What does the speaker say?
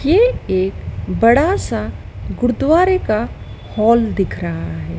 ये एक बड़ा सा गुरुद्वारे का हॉल दिख रहा है।